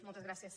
moltes gràcies